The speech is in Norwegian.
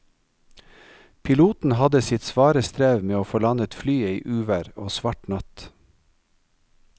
Piloten hadde sitt svare strev med å få landet flyet i uvær og svart natt.